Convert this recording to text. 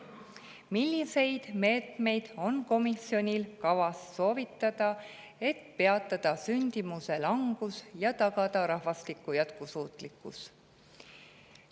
Milliseid meetmeid on komisjonil kavas soovitada, et peatada sündimuse langus ja tagada rahvastiku jätkusuutlikkus?